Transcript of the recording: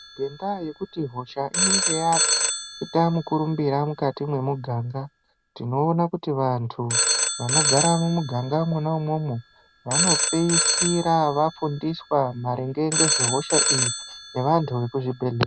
Ngendaa yekuti hosha inenge yaita murumbira mukati mwemuganga tinoona kuti vanthu vanogara mwumuganga mwona imwomwo vanopeisira vafundiswa maringe ngezvehosha iyi ngevanthu vekuzvibhedhlera.